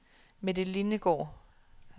Mette Lindegaard